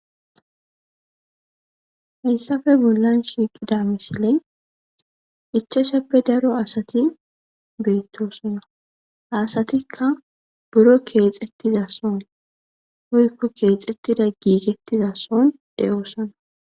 heyssafe bollan shiiqida misiley ichashappe daro asati beettosana hasatikka buro keexettiza son hoykko keexettida giigettiza soon de7oosana